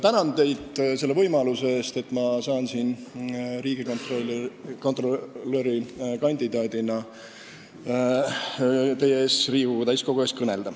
Tänan teid selle võimaluse eest, et ma saan siin Riigikogu täiskogu ees riigikontrolöri kandidaadina kõnelda!